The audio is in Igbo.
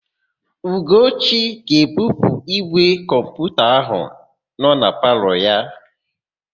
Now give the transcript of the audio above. Ugochi ga-ebupu ígwè kọmputa áhụ̀ nọ na palọ ya.